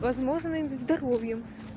возможно и здоровьем